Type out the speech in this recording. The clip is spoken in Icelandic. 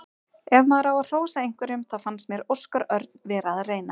Ef maður á að hrósa einhverjum þá fannst mér Óskar Örn vera að reyna.